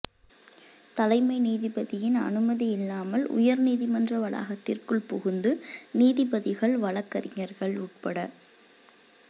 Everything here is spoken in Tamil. தலைமை நீதிபதியின் அனுமதியில்லாமல் உயர் நீதிமன்ற வளாகத்திற்குள் புகுந்து நீதிபதிகள் வழக்கறிஞர்கள் உட்பட